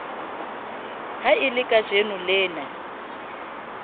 ha e le kajeno lena